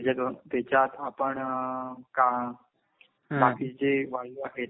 त्याच्यातून, त्याच्यात आपण का बाकी जे वायू आहेत